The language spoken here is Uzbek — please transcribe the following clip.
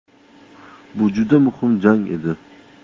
Bu juda muhim jang edi.